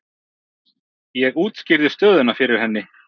Ég útskýrði stöðuna fyrir henni.